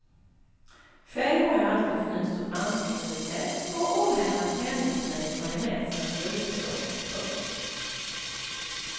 Själv har jag alltid fnyst åt bantningsrecept och ohämmat hängett mig åt majonnäsernas rikedom. punkt